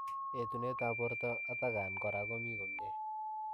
Etuneet ap portoo atakaan koraa komii komie